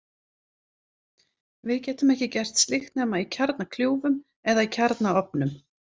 Við getum ekki gert slíkt nema í kjarnakljúfum eða í kjarnaofnum.